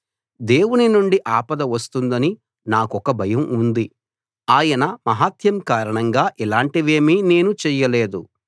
దేవుడి నుండి ఆపద వస్తుందని నాకొక భయం ఉంది ఆయన మహాత్మ్యం కారణంగా ఇలాంటివేమీ నేను చెయ్యలేదు